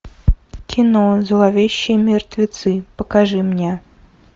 кино зловещие мертвецы покажи мне